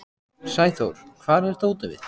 Sæþór, hvar er dótið mitt?